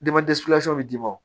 bɛ d'i ma